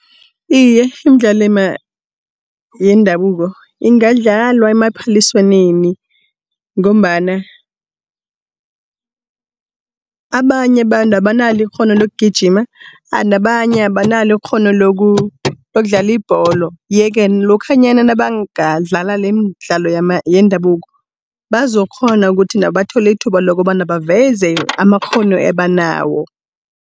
Iye imidlalo yendabuko ingadlalwa emaphaliswaneni ngombana abanye abantu abanalo ikghono lokugijima nabanye abanalo ikghono lokudlala ibholo. Yeke lokhanyana nabangadlala leemdlalo yendabuko bazokghona ukuthi nabo bathole ithuba lokobana baveze amakghono abanawo.